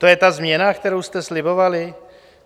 To je ta změna, kterou jste slibovali?